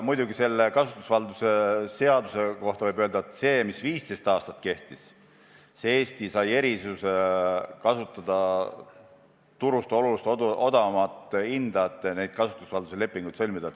Aga kasutusvalduse seaduse kohta võib öelda, et regulatsioon, mis 15 aastat kehtis, oli tänu sellele, et Eesti sai erisuse kasutada turust oluliselt odavamat hinda, et neid kasutusvalduse lepinguid sõlmida.